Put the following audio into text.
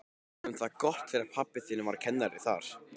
Við höfðum það gott þegar pabbi þinn var kennari þar.